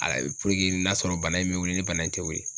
puruke n'a sɔrɔ bana in bɛ wili ni bana in tɛ wili